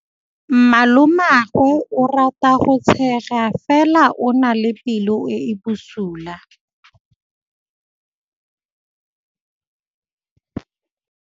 Malomagwe o rata go tshega fela o na le pelo e e bosula.